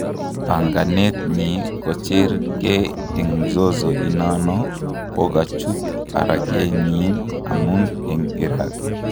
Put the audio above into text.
Panganetnyi kochernge en mzozo inano kokachut arakenenyi amun en iraq